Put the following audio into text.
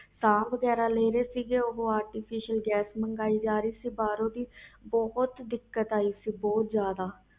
ਸਾਹ ਵਗੈਰਾ ਲੈ ਰਹੇ ਸੀ artificial ਗੈਸ ਮੰਗੀਏ ਜਾ ਰਹੀ ਸੀ ਭਰੋ ਦੀ ਬਹੁਤ ਦਿਕਤ ਆਈ ਸੀ